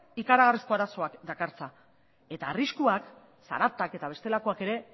ikaragarrizko arazoak dakartza eta arriskuak zaratak eta bestelakoak ere